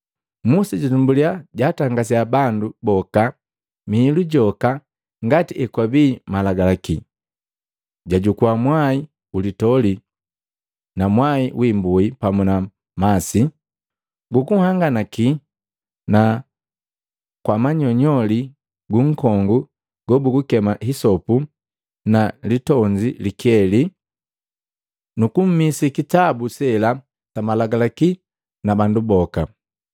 Musa jatumbuliya jatangasiya bandu boka mihilu joka ngati ekwabii malagalaki; jajukua mwai ulitoli na mwai wi imbui pamu na masi gu kuhanganaki, na kwa manyoli gu nkongu gobugukema hisopu na litonzi likeli, nu kumisi kitabu sela sa malagalaki na bandu boka.